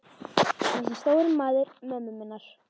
Þessi stóri maður mömmu minnar.